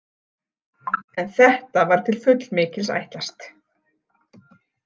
En þetta var til fullmikils ætlast.